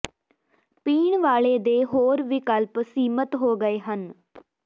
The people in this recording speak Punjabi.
ਪੀਣ ਵਾਲੇ ਦੇ ਹੋਰ ਵਿਕਲਪ ਸੀਮਤ ਹੋ ਗਏ ਹਨ